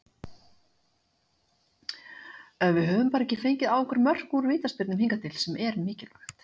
Við höfum bara fengið á okkur mörk úr vítaspyrnum hingað til, sem er mikilvægt.